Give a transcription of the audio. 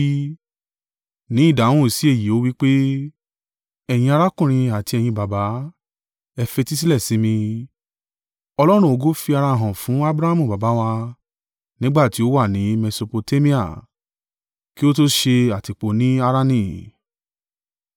Ní ìdáhùn sí èyí ó wí pé, “Ẹ̀yin arákùnrin àti ẹ̀yin baba, ẹ fetísílẹ̀ sí mi! Ọlọ́run ògo fi ara hàn fún Abrahamu baba wa, nígbà tí ó wà ni Mesopotamia, kí ó to ṣe àtìpó ni Harani.